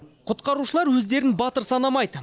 құтқарушылар өздерін батыр санамайды